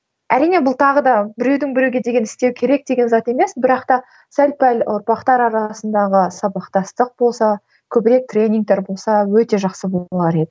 әрине бұл тағы да біреудің біреуге деген істеу керек деген зат емес бірақ та сәл пәл ұрпақтар арасындағы сабақтастық болса көбірек тренингтер болса өте жақсы болар еді